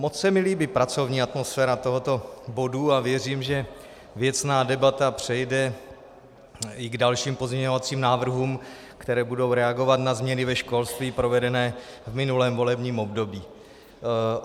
Moc se mi líbí pracovní atmosféra tohoto bodu a věřím, že věcná debata přejde i k dalším pozměňovacím návrhům, které budou reagovat na změny ve školství provedené v minulém volebním období.